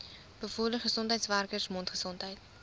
bevorder gesondheidswerkers mondgesondheid